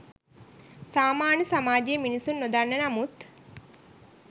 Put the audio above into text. සාමාන්‍ය සමාජයේ මිනිසුන් නොදන්න නමුත්